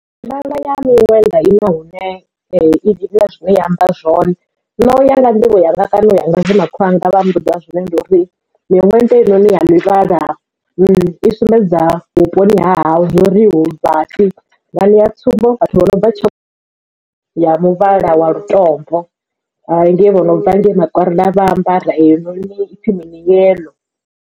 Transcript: Mivhala ya miṅwenda ina hune ina zwine ya amba zwone na u ya nga nḓivho yanga kana u ya nga zwe makhulu wanga vha mmbudza zwone ndi uri miṅwenda heinoni ya mivhala i sumbedza vhuponi ha hashu zwori hu vhathu vha ṋea tsumbo vhathu vho no bva tshakhuma ya muvhala wa lutombo ngei vho no bva ngei makwarela vha ambara heyo noni no ipfhi mini yellow.